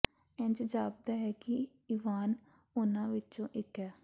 ਇੰਜ ਜਾਪਦਾ ਹੈ ਕਿ ਇਵਾਨ ਉਨ੍ਹਾਂ ਵਿੱਚੋਂ ਇੱਕ ਹੈ